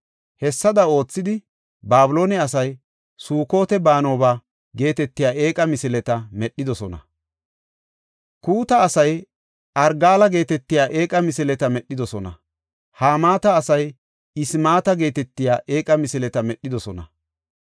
Hessada oothidi, Babiloone asay Sukot-Banooba geetetiya eeqa misileta medhidosona. Kuuta asay Argaala geetetiya eeqa misileta medhidosona. Hamaata asay Ismaata geetetiya eeqa misileta medhidosona.